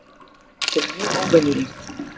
Þetta er mjög óvenjulegt